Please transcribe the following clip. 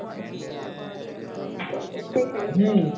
জল তেষ্টাই পেয়েছে